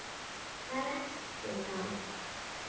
Hvar ertu þá?